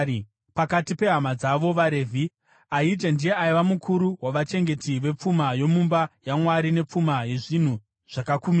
Pakati pehama dzavo vaRevhi, Ahija ndiye aiva mukuru wavachengeti vepfuma yomumba yaMwari nepfuma yezvinhu zvakakumikidzwa.